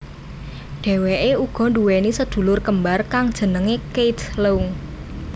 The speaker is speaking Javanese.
Dheweké uga nduwèni sedulur kembar kang jenengé Keith Leung